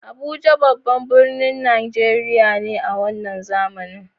Abuja babban birnin Najeriya ne a wannan zamani.